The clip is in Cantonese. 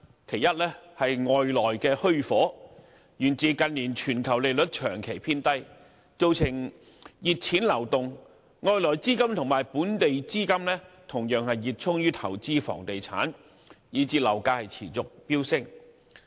其一是"外來的虛火"，源自近年全球利率長期偏低，造成熱錢流動，外來資金與本地資金同樣熱衷於投資房地產，以致樓價持續飆升。